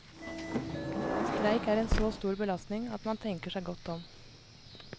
Streik er en så stor belastning at man tenker seg godt om.